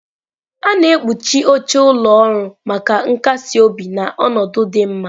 A na-ekpuchi oche ụlọ ọrụ maka nkasi obi na ọnọdụ dị mma.